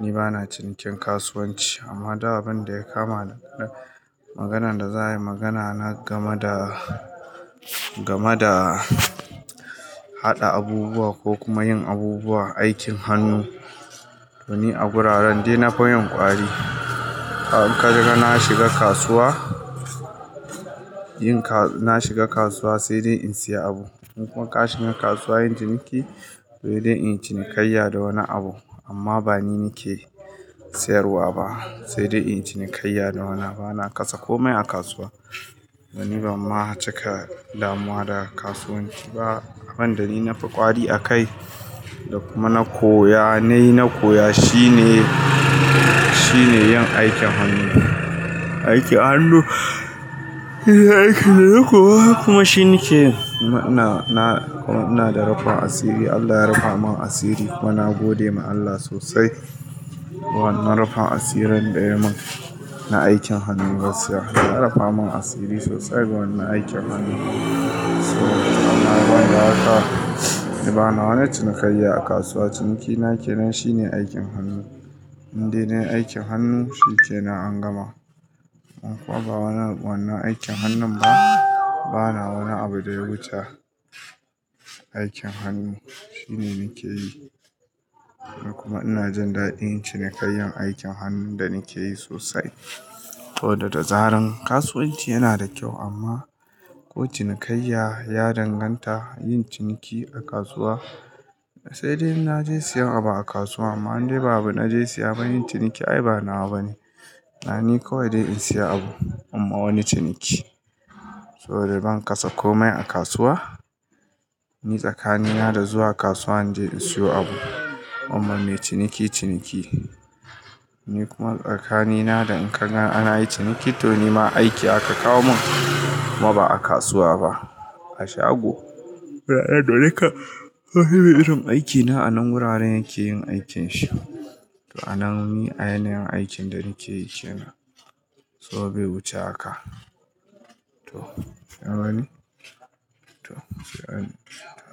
ni bana cinikin kasuwanci amma duk abin da ya kama maganan da za a yi magana na game da, game da haɗa abubuwa ko kuma yin abubuwa aikin hannu to ni a wuraren dai na fi yin ƙwari. In ka shiga na shiga kasuwa, yin ka-- na shiga kasuwa sai dai in saya abu. In kuma ka shiga kasuwa yin ciniki sai dai in cinikayya da wani abu amma ba ni nake sayarwa ba sai dai in cinikayya da wani. Bana kasa komai a kasuwa. To ni ban ma cika damuwa da kasuwanci ba abin da ni na fi ƙwari akai da kuma na koya, na yi, na koya shine, shine yin aikin hannu. Aikin hannu shine aikin da na koya kuma shine nake yin. Na, na, ina da rufin asiri Allah ya rufa mun asiri kuma na gode ma Allah sosai. Wannan rufin asirin daya mun na aikin hannu gaskiya. Allah ya rafa mun asiri sosai ga wannan aikin hannu. Amma banda haka. Ni bana wani cinikayya a kasuwa. Ciniki na kenan shine aikin hannu. Inde na yi aikin hannu shine na an gama. In kuwa ba wannan aikin hannun ba bana wani abu da ya wuce aikin hannu. Shine nake yi da kuma ina jin daɗin cinikayyan aikin hannun da nake yi sosai. To da dazaran kasuwanci yana da kyau amma ko cinikayya ya danganta yin ciniki a kasuwa sai dai in na je siyan abu a kasuwa amma indai ba na je siya ba yin ciniki ai ba nawa bane. Ai ni kawai dai in siya abu imma wani ciniki. To dai ban kasa komai a kasuwa. Ni tsakanina da zuwa kasuwa in je in siyo abu imma me ciniki ciniki. Ni kuma tsakanina da in kaga ana yin ciniki to ni ma aiki aka kawo mun kuma ba a kasuwa ba a shago. Wuraren dole ka fahimi irin aikin na anan wuraren yake yin aikin shi. To a nan ni a yanayin aikin da nake yi kenan. So bai wuce haka. To, shine wani. To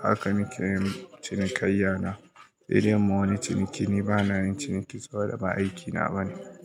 haka nake yin cinikayya na. Sai dai mun wani ciniki ni bana yin ciniki saboda ba aikina bane.